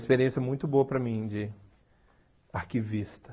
experiência muito boa para mim de arquivista.